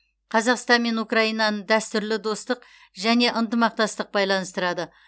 қазақстан мен украинаны дәстүрлі достық және ынтымақтастық байланыстырады